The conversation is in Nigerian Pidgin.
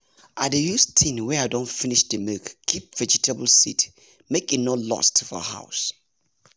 i dey use tin wey i don finish the milk keep vegetable seed make e no lost for house